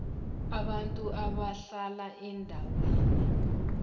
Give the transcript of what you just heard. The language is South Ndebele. abantu abahlala eendaweni